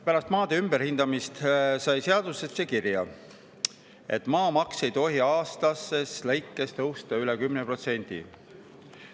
Pärast maade ümberhindamist sai seadusesse kirja, et maamaks ei tohi aastas tõusta üle 10%.